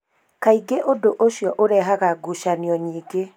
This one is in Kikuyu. Kaingĩ ũndũ ũcio ũrehaga ngucanio nyingĩ